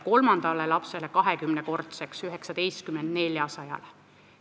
Kolmanda lapse toetus on tõusnud 20-kordseks: 19 eurolt 400 eurole.